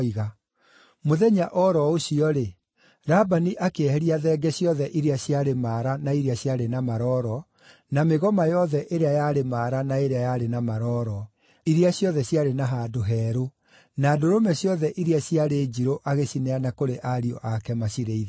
Mũthenya o ro ũcio-rĩ, Labani akĩeheria thenge ciothe iria ciarĩ maara na iria ciarĩ na maroro, na mĩgoma yothe ĩrĩa yarĩ maara na ĩrĩa yarĩ na marooro (iria ciothe ciarĩ na handũ herũ), na ndũrũme ciothe iria ciarĩ njirũ agĩcineana kũrĩ ariũ ake macirĩithagie.